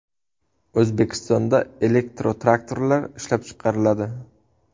O‘zbekistonda elektrotraktorlar ishlab chiqariladi.